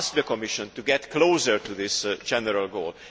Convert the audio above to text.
We asked the Commission to move closer to this general goal.